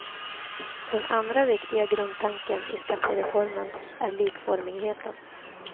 Den andra viktiga grundtanken i skattereformen är likformigheten.